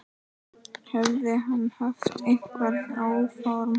Hefði hann haft einhver áform.